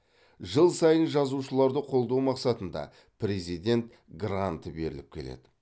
жыл сайын жазушыларды қолдау мақсатында президент гранты беріліп келеді